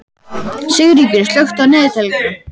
Sigríkur, slökktu á niðurteljaranum.